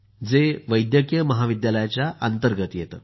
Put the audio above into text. जे वैद्यकीय महाविद्यालयाच्या अंतर्गत येतं